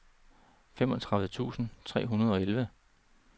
femogtredive tusind tre hundrede og elleve